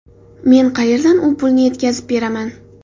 Men qayerdan u pulni yetkazib beraman?